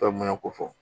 ko fɔ